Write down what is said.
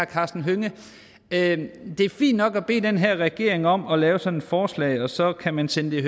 karsten hønge at det er fint nok at bede den her regering om at lave sådan et forslag og så kan man sende det